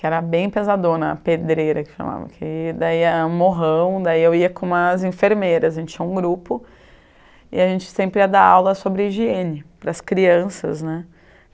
que era bem pesadona, a pedreira que chamava, que daí era um morrão, daí eu ia com umas enfermeiras, a gente tinha um grupo e a gente sempre ia dar aula sobre higiene para as crianças né.